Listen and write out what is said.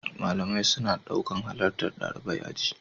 Malamai suna ɗaukan halartar ɗalibai aji.